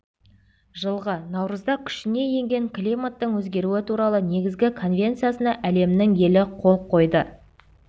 жылғы наурызда күшіне енген климаттың өзгеруі туралы негізгі конвенциясына әлемнің елі қол қойды